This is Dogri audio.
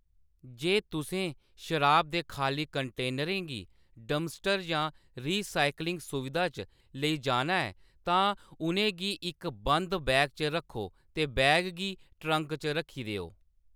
जे तुसें शराबा दे खाल्ली कंटेनरें गी डंपस्टर जां रीसाइक्लिंग सुविधा च लेई जाना ऐ, तां उʼनें गी इक बंद बैग च रक्खो ते बैग गी ट्रंक च रक्खी देओ।